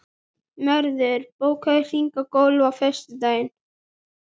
Mörður, bókaðu hring í golf á föstudaginn.